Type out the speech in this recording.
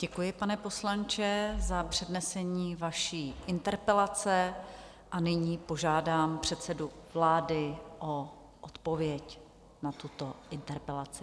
Děkuji, pane poslanče, za přednesení vaší interpelace, a nyní požádám předsedu vlády o odpověď na tuto interpelaci.